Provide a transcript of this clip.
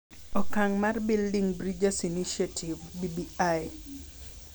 Okang’ mar Building Bridges Initiative (BBI)